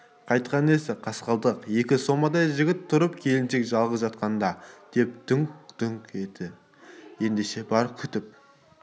қайтқаны несі қасқалдақ екі сомадай жігіт тұрып келіншек жалғыз жатқанда деп дүңк-дүңк етті ендеше бар күтіп